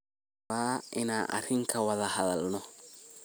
Waxan rawaa inan arin kawadha hadhalno.